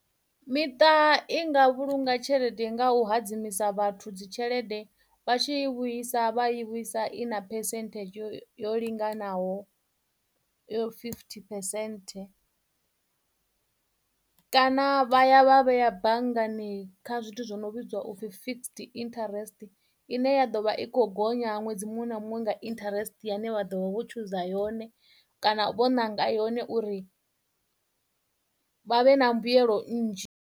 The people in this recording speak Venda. Miṱa i nga vhulunga tshelede nga u hadzimisa vhathu dzi tshelede vha tshi i vhuisa vha i vhuisa i na percent yo yo linganaho yo fifty percent. Kana vha ya vha vheya banngani kha zwithu zwo no vhidzwa upfhi fixed interest ine ya ḓovha i kho gonya ṅwedzi muṅwe na muṅwe nga interest ya ine vha ḓovha vho tshuza yone kana vho nanga yone uri vha vhe na mbuyelo nnzhi.